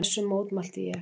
Þessu mótmælti ég.